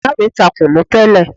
Ìyá mi ta kùnú tẹ́lẹ̀.